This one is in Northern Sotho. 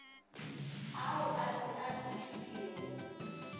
ao a se a tlišwego